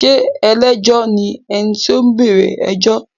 Ṣé ẹlẹ́jọ́ ni ẹni tí ó bẹ̀rẹ̀ ẹjọ́?